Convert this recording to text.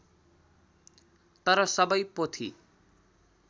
तर सबै पोथी